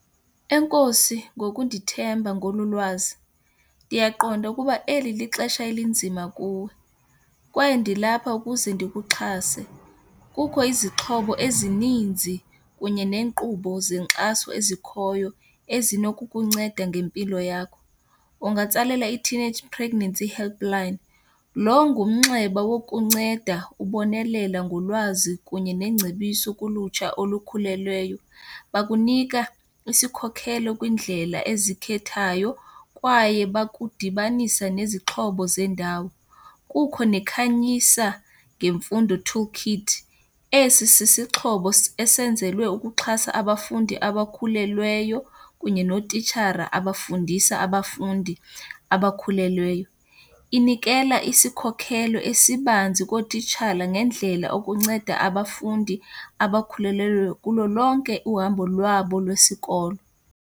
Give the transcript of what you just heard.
Enkosi ngokundithemba ngolu lwazi. Ndiyaqonda ukuba eli lixesha elinzima kuwe kwaye ndilapha ukuze ndikuxhase. Kukho izixhobo ezininzi kunye neenkqubo zenkxaso ezikhoyo ezinokukunceda ngempilo yakho. Ungatsalela i-teenage pregnancy helpline, loo ngumnxeba wokunceda ubonelela ngolwazi kunye nengcebiso kulutsha olukhulelweyo. Bakunika isikhokhelo kwiindlela ezikhethayo kwaye bakudibanisa nezixhobo zendawo. Kukho neKhanyisa ngemfundo toolkit. Esi sisixhobo esenzelwe ukuxhasa abafundi abakhulelweyo kunye nootitshara abafundisa abafundi abakhulelweyo. Inikela isikhokhelo esibanzi kootishala ngendlela okunceda abafundi abakhulelweyo kulo lonke uhambo lwabo lwesikolo.